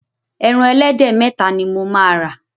Ẹran ẹlẹ́dẹ̀ méta ni mo máa rà.